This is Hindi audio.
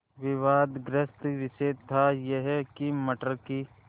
विवादग्रस्त विषय था यह कि मटर की